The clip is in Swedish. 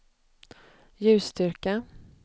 ljusstyrka